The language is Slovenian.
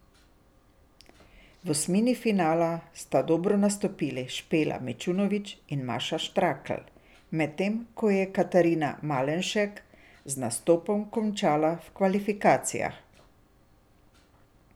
V osmini finala sta dobro nastopili Špela Mičunovič in Maša Štrakl, medtem ko je Katarina Malenšek z nastopom končala po kvalifikacijah.